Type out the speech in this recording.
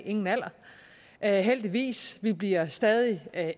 er nogen alder alder heldigvis vi bliver stadig